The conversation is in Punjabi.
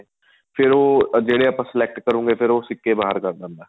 ਫ਼ੇਰ ਉਹ ਜਿਹੜੇ ਆਪਾਂ select ਕਰੋਗੇ ਫ਼ੇਰ ਉਹ ਸਿੱਕੇ ਬਹਾਰ ਕੱਢ ਦਿੰਦਾ